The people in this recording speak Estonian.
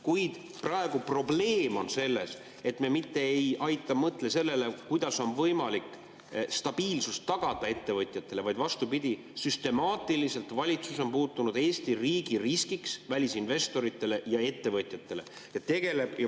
Kuid praegu on probleem selles, et me mitte ei aita, ei mõtle sellele, kuidas on võimalik tagada ettevõtjatele stabiilsus, vaid vastupidi, süstemaatiliselt valitsus on muutunud Eesti riigis riskiks välisinvestoritele ja ettevõtjatele.